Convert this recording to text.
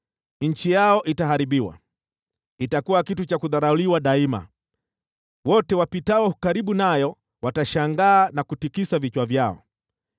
Nchi yao itaharibiwa, itakuwa kitu cha kudharauliwa daima; wote wapitao karibu nayo watashangaa na kutikisa vichwa vyao.